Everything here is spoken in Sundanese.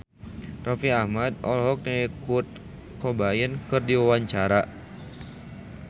Raffi Ahmad olohok ningali Kurt Cobain keur diwawancara